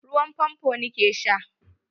Ruwan fanfon ni ke sha.